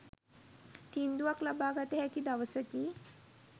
තීන්දුවක් ලබාගත හැකි දවසකි